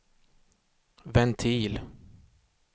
ventil